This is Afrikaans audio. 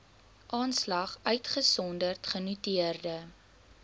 aanslag uitgesonderd genoteerde